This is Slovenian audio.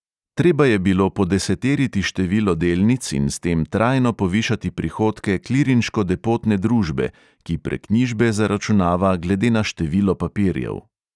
Treba je bilo podeseteriti število delnic in s tem trajno povišati prihodke klirinško depotne družbe, ki preknjižbe zaračunava glede na število papirjev.